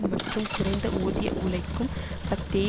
மற்றும் குறைந்தஊதிய உழைக்கும் சக்தியை